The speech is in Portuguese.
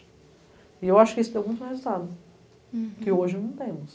E eu acho que isso deu muito resultado, hurum, que hoje não temos.